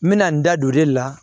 N mɛna n da don o de la